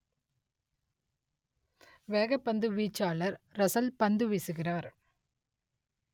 வேகப்பந்து வீச்சாளர் ரசல் பந்து வீசுகிறார்